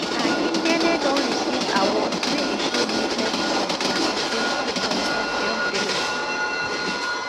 akindele don receive awards wey include nuclear science and security consortium fellowship